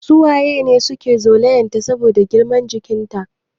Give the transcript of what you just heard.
Su waye ne suke zolayan ta saboda girman jikin ta?